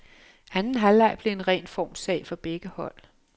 Anden halvleg blev en ren formssag for begge hold.